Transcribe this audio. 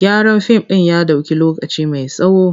Gyaran fim ɗin ya ɗauki lokaci mai tsawo.